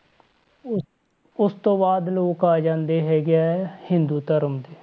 ਉਸ ਉਸ ਤੋਂ ਬਾਅਦ ਲੋਕ ਆ ਜਾਂਦੇ ਹੈਗੇ ਆ ਹਿੰਦੂ ਧਰਮ ਦੇ।